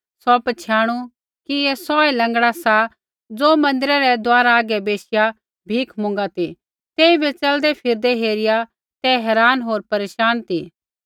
सौ पछ़ियाणु कि ऐ सौहै लँगड़ा सा ज़ो मन्दिरै रै दुआरा हागै बैशिआ भीख मुँगा ती तेइबै च़लदैफिरदै हेरिआ ते हैरान होर परेशान ती